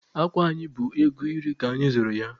Akwa anyị bụ ego iri ka anyị zụrụ ya.